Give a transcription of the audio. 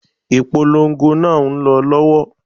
Ìpolongo náà ń lọ lọ́wọ́lọ́wọ́